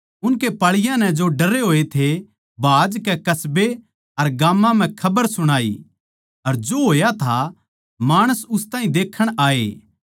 उनके पाळीयाँ नै जो डरे होए थे भाजकै कस्बे अर गाम्मां म्ह खबर सुणाई अर जो होया था माणस उस ताहीं देक्खण आए